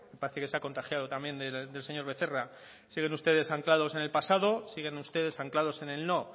parece que se ha contagiado también del señor becerra siguen ustedes anclados en el pasado siguen ustedes anclados en el no